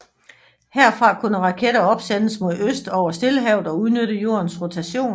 Herfra kunne raketter opsendes mod øst over Stillehavet og udnytte Jordens rotation